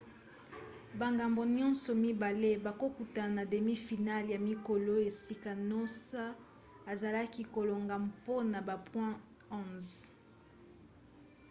bangambo nyonso mibale bakokutana na demi final ya mikolo esika noosa azalaki kolonga mpona ba point 11